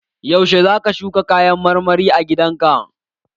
Yaushe zaka shuka kayan marmari a gidan ka?